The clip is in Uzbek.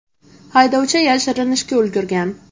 Haydovchi yashirinishga ulgurgan.